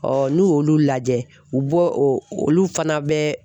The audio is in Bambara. n'u y'olu lajɛ u bɔ olu olu fana bɛ